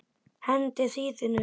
Hendið hýðinu.